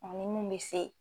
Ani mun bɛ se